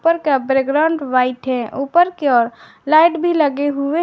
ऊपर की बैकग्राउंड भी वाइट है ऊपर के और लाइट भी लगे हुए हैं।